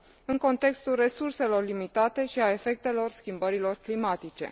în contextul resurselor limitate și al efectelor schimbărilor climatice.